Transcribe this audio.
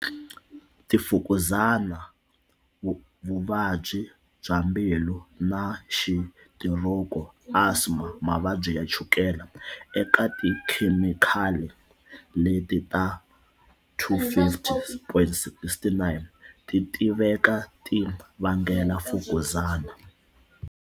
Tifukuzani vuvabyi bya mbilu na xitiroki, asma, mavabyi ya chukele. Eka tikhemikhali leti ta 250, 69 ti tiveka ti vangela mfukuzani.